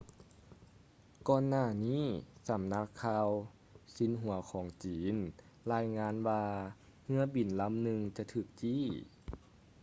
ກ່ອນໜ້ານີ້ສຳນັກຂ່າວຊິນຫົວຂອງຈີນລາຍງານວ່າເຮືອບິນລຳໜຶ່ງຈະຖືກຈີ້